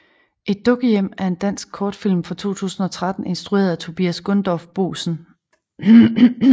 Et dukkehjem er en dansk kortfilm fra 2013 instrueret af Tobias Gundorff Boesen